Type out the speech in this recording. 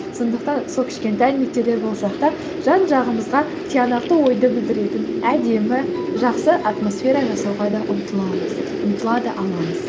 сондықтан сол кішкентай нүктелер болсақ та жан жағымызға тиянақты ойды білдіретін әдемі жақсы атмосфера жасауға да ұмтыламыз ұмтыла да аламыз